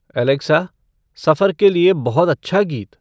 Alexa सफ़र के लिए बहुत अच्छा गीत